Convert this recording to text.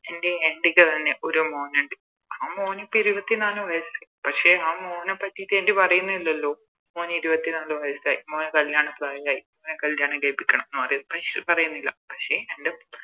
എൻറെ Aunty അതുപോലെന്നെ ഒരു മോനിണ്ട് ആ മോനിപ്പോ ഇരുപത്തിനാല് വയസ്സായി പക്ഷെ ആ മോനെ പറ്റിറ്റ് Aunty പറയുന്നേ ഇല്ലാലോ മോന് ഇരുപത്തിനാല് വയസ്സായി മോന് മോന് കല്യാണ പ്രായായി മോനെ കല്യാണം കയിപ്പിക്കണം എന്ന് പറയുന്നില്ല പക്ഷെ